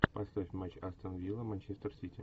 поставь матч астон вилла манчестер сити